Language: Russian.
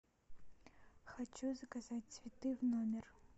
хочу заказать цветы в номер